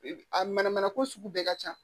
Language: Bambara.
A mana mana ko sugu bɛɛ ka ca